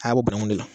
A bɛ bɔ banakun de la